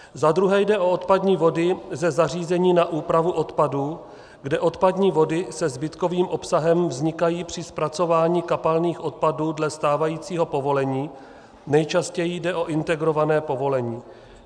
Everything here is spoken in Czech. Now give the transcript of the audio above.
Za druhé jde o odpadní vody ze zařízení na úpravu odpadů, kde odpadní vody se zbytkovým obsahem vznikají při zpracování kapalných odpadů dle stávajícího povolení, nejčastěji jde o integrované povolení.